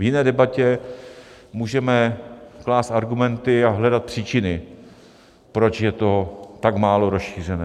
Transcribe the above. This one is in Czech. V jiné debatě můžeme klást argumenty a hledat příčiny, proč je to tak málo rozšířené.